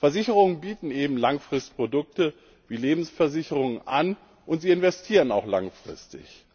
Versicherungen bieten eben Langfristprodukte wie Lebensversicherungen an, und sie investieren auch langfristig.